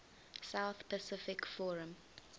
south pacific forum